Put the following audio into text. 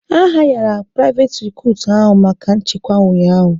A hayara onye priveti recutu ahụ maka nchekwa ụnyaahụ